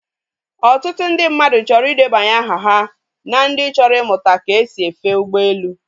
Otutu ndị mmadụ chọrọ ị debanye aha ha na ndị chọrọ imụta ka esi efe ụgbọelu